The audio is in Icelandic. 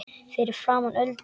Fyrir framan Öldu.